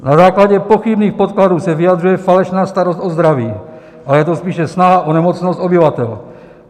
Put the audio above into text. Na základě pochybných podkladů se vyjadřuje falešná starost o zdraví, ale je to spíše snaha o nemocnost obyvatel.